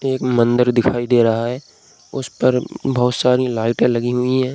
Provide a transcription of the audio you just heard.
एक मंदिर दिखाई दे रहा है उस पर बहुत सारी लाइटें लगी हुई हैं।